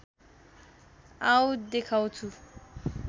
आओ देखाउँछु